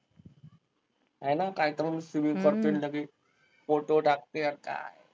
आयला कायपण photo टाकते अन काय?